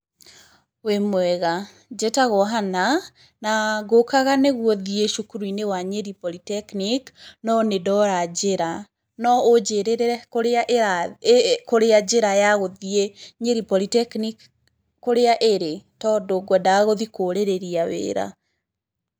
Wĩmwega? Njĩtagwo Hannah, na ngũkaga nĩguo thiĩ cukuru-inĩ wa Nyeri Polytechnic, no nĩ ndora njĩra. No ũnjĩrĩre kũrĩa kũrĩa njĩra ya gũthiĩ Nyeri Polytechnic kũrĩa ĩrĩ ? Tondũ kwendaga gũthiĩ kũrĩrĩria wĩra.